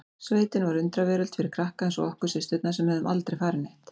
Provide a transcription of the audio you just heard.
Sveitin var undraveröld fyrir krakka eins og okkur systurnar sem höfðum aldrei farið neitt.